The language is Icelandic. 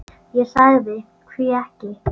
Ég sagði: Hví ekki?